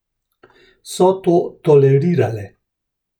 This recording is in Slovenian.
So to tolerirale?